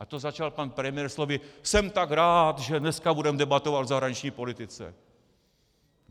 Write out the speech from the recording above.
A to začal pan premiér slovy: Jsem tak rád, že dneska budeme debatovat o zahraniční politice!